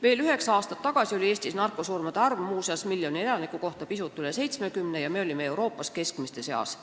Veel üheksa aastat tagasi oli Eestis narkosurmasid miljoni elaniku kohta pisut üle 70 ja me olime Euroopas keskmiste seas.